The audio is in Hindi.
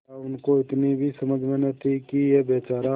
क्या उनको इतनी भी समझ न थी कि यह बेचारा